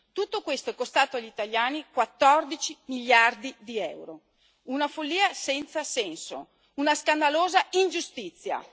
Tutto questo è costato agli italiani 14 miliardi di euro una follia senza senso, una scandalosa ingiustizia.